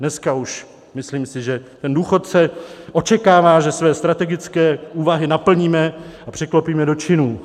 Dneska už, myslím si, že ten důchodce očekává, že své strategické úvahy naplníme a překlopíme do činů.